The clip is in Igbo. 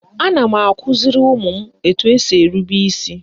Ana m akụziri ụmụ m etu esi erube isi